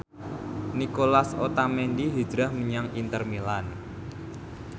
Nicolas Otamendi hijrah menyang Inter Milan